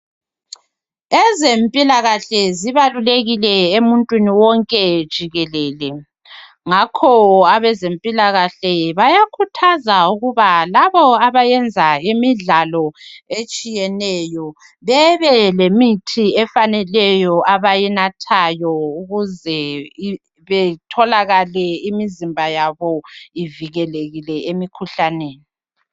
Ezempilakahle zibalulekile emuntwini wonke jikelele ngakho abezempilakahle bayakhuthaza ukuba labo abayenza imidlalo etshiyeneyo bebe lemithi efaneleyo abayinathayo ukuze betholakale imizimba yabo ivikelekile emikhuhlaneni.